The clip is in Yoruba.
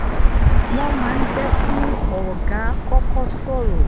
wọ́n máa ń jẹ́ kí ọlgá kọ́kọ́ sọ̀rọ̀